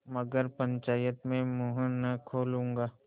मगर पंचायत में मुँह न खोलूँगा